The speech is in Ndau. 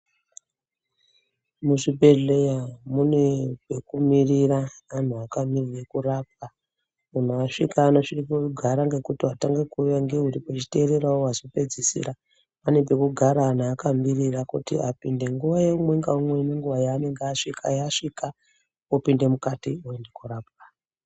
Muzvibhedhleya mune pekumirira anhu akamirira koorapwa, munhu asvika unosvika koogara ngekuti watanga kuuya ngeuri pechitererawo wazopedzisira, pane pekugara wanhu akamirira kuti apinde nguwa yeumwe naumwe nenguwa yaanenge asvika yasvika opinde mukati, oenda kunorapwa.